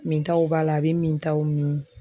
Mintaw b'a la a bɛ mintaw min